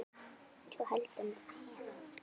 svo heldur en þegja